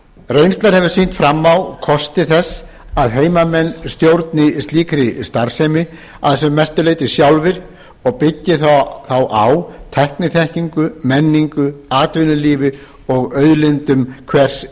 reynslan hefur sýnt fram á kosti þess að heimamenn stjórni slíkri starfsemi að sem mestu leyti sjálfir og byggi þá á tækniþekkingu menningu atvinnulífi og auðlindum hvers